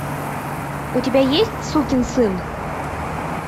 у тебя есть сукин сын